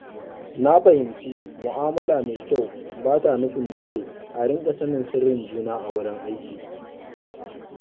Na fahimci mu’amala mai kyau ba ta nufin dole a riƙa sanin sirrin juna a wurin aiki.